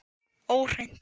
Og hreint.